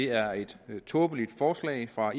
er et tåbeligt forslag fra